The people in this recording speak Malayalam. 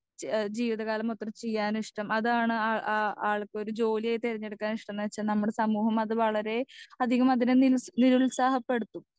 സ്പീക്കർ 2 എഹ് ജീവിതകാലം മൊത്തം ചെയ്യാൻ ഇഷ്ട്ടം അതാണ് ആ ആ ആൾക്കൊരു ജോലിയായി തെരഞ്ഞെടുക്കാൻ ഇഷ്ട്ടം ന്ന്വെച്ച നമ്മടെ സമൂഹം അത് വളരെ അധികം അതിന് നിൽ നിരുത്സാഹം പെടുത്തും